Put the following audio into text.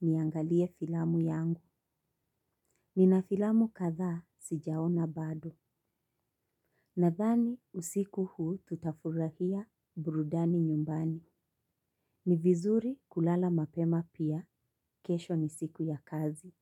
Niangalie filamu yangu. Nina filamu kadha sijaona bado. Nadhani usiku huu tutafurahia burudani nyumbani. Ni vizuri kulala mapema pia, kesho ni siku ya kazi.